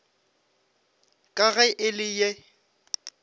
ka ge e le ye